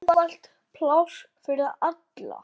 Við höfum misst svo mikið.